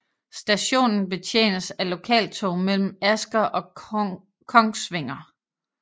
Stationen betjenes af lokaltog mellem Asker og Kongsvinger